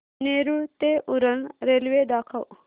नेरूळ ते उरण रेल्वे दाखव